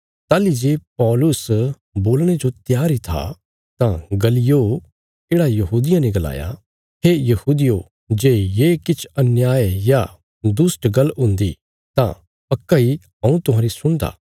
ताहली जे पौलुस बोलणे जो त्यार इ था तां गल्लियो येढ़ा यहूदियां ने गलाया हे यहूदियो जे ये किछ अन्याय या दुष्ट गल्ल हुंदी तां पक्का इ हऊँ तुहांरी सुणदा